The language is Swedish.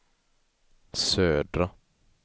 södra